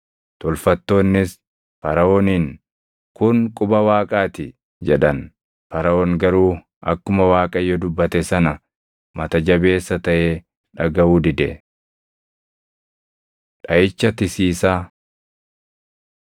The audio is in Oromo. Tolfattoonnis Faraʼooniin, “Kun quba Waaqaa ti” jedhan. Faraʼoon garuu akkuma Waaqayyo dubbate sana mata jabeessa taʼee dhagaʼuu dide. Dhaʼicha Tisiisaa